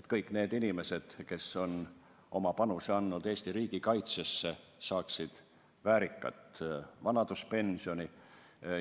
et kõik need inimesed, kes on oma panuse andnud Eesti riigikaitsesse, saaksid väärikat vanaduspensioni.